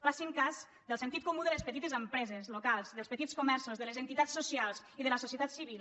facin cas del sentit comú de les petites empreses locals dels petits comerços de les entitats socials i de la societat civil